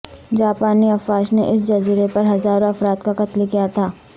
جاپانی افواج نے اس جزیرے پر ہزاروں افراد کا قتل کیا تھا